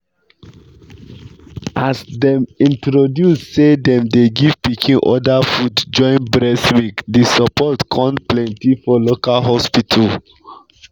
as them introduce say them dey give pikin other food join breast milk the support con plenty for local hospital.